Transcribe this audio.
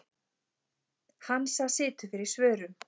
Hansa situr fyrir svörum.